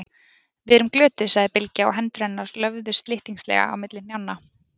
Við erum glötuð, sagði Bylgja og hendur hennar löfðu slyttingslega á milli hnjánna.